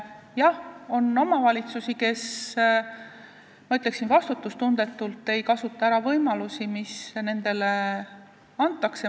Jah, on omavalitsusi, kes, ma ütleksin, vastutustundetult ei kasuta ära võimalusi, mida neile antakse.